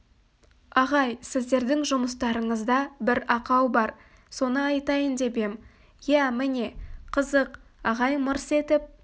ағай сіздердің жұмыстарыңызда бір ақау бар соны айтайын деп ем иә міне қызық ағай мырс етіп